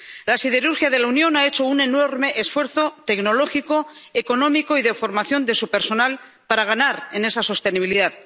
La siderurgia de la Unión ha hecho un enorme esfuerzo tecnológico, económico y de formación de su personal para ganar en esa sostenibilidad.